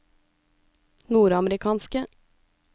nordamerikanske